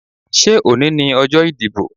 Ṣé òní ni ọjọ́ ìdìbò?